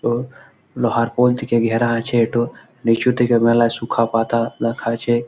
ওঁ লোহার পোল থেকে ঘেরা আছে। এটো নিচু থেকে মেলায় সুখা পাতা রাখা আছে।